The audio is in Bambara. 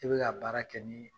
I bi ka baara kɛ nin ye